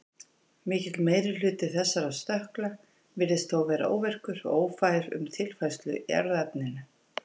Mikill meiri hluti þessara stökkla virðist þó vera óvirkur og ófær um tilfærslu í erfðaefninu.